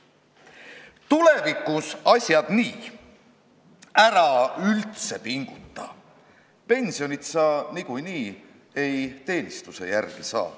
Tulevikus asjad nii: ära üldse pinguta, pensionit sa niikuinii ei teenistuse järgi saa.